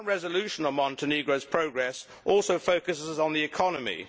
My current resolution on Montenegro's progress also focuses on the economy.